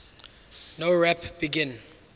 nowrap begin